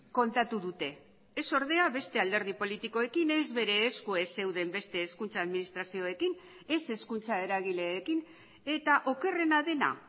kontatu dute ez ordea beste alderdi politikoekin ez bere esku ez zeuden beste hezkuntza administrazioekin ez hezkuntza eragileekin eta okerrena dena